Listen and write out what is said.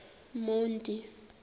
monti